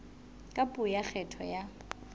ka puo ya kgetho ya